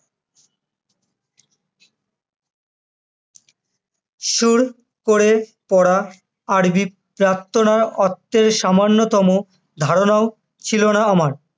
সুর করে পড়া আরবি প্রার্থনার অর্থের সামান্যতম ধারণাও ছিলোনা আমার